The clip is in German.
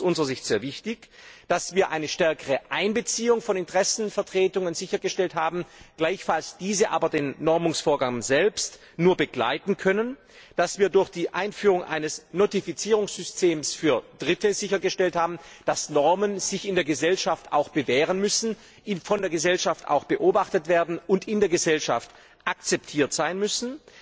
Es ist aus unserer Sicht sehr wichtig, dass wir eine stärkere Einbeziehung von Interessenvertretungen sichergestellt haben, gleichfalls diese aber den Normungsvorgang selbst nur begleiten können, dass wir durch die Einführung eines Notifizierungssystems für Dritte sichergestellt haben, dass sich Normen in der Gesellschaft auch bewähren müssen, von der Gesellschaft beobachtet werden und in der Gesellschaft akzeptiert sein müssen.